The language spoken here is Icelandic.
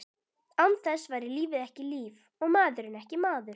Án þess væri lífið ekki líf, og maðurinn ekki maður.